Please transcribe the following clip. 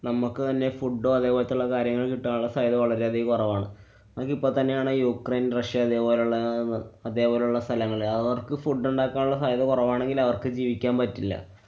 നമ്മക്ക് തന്നെ food അതെപോലത്തുള്ള കാര്യങ്ങള്‍ കിട്ടാനുള്ള സാധ്യത വളരെയധികം കുറവാണ്. നമുക്കിപ്പൊ തന്നെയാണ് യുക്രൈന്‍, റഷ്യ അതേപോലുള്ള അതേപോലുള്ള സ്ഥലങ്ങളിലെ അവര്‍ക്ക് food ഒണ്ടാക്കാനുള്ള സാധ്യത കൊറവാണെങ്കില്‍ അവര്‍ക്ക് ജീവിക്കാന്‍ പറ്റില്ല.